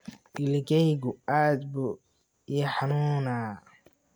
Ilikeygu aad buu ii xanuunaa.